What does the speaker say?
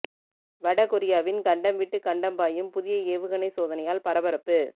வட கொரியாவின் கண்டம் விட்டு கண்டம் பாயும் புதிய ஏவுகணை சோதனையால் பரபரப்பு